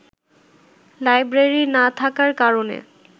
library না থাকার কারনে